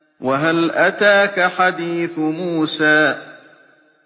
وَهَلْ أَتَاكَ حَدِيثُ مُوسَىٰ